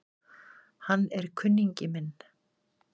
Hann er kunningi minn